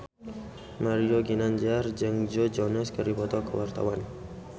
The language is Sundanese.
Mario Ginanjar jeung Joe Jonas keur dipoto ku wartawan